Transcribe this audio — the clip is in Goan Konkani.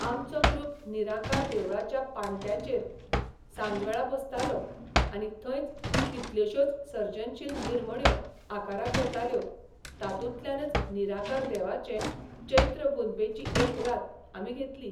आमचो ग्रूप निराकार देवळाच्या पाण्ट्यांचेर सांजवेळा बसतालो आनी थंयच कितल्योशोच सर्जनशील निर्मण्यो आकाराक येताल्यो तातूंतल्यानच निराकार देवाचे चैत्रपुनबेची एक रात आमी घेतली.